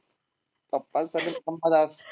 पप्पांचं surname